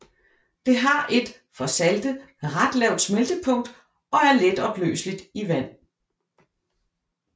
Det har et for salte ret lavt smeltepunkt og er letopløseligt i vand